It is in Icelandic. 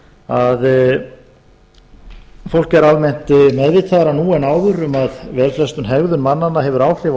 að fólk er almennt meðvitaðra nú en áður um að vel flest í hegðun mannanna hefur áhrif á